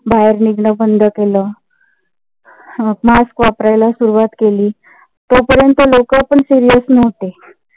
बाहेर निघण बंद केलं. mask वापरायला सुरुवात केली. तोपर्यंत लोकं पण serious नव्हती.